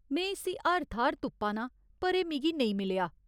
में इस्सी हर थाह्‌र तुप्पा नां पर एह् मिगी नेईं मिलेआ।